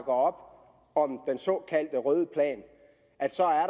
om den såkaldte røde plan